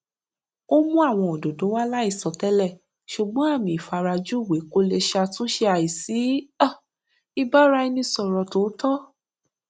ó mú àwọn òdòdó wá láìsọ télè ṣùgbón àmì ìfarajúwe kò lè ṣàtúnṣe àìsí um ìbáraẹnisọrọ tòótọ